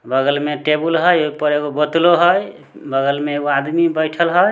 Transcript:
बगल में टेबुल हई ऊपर एगो बोत्तलो हई बगल में एगो आदमी बइठल हई।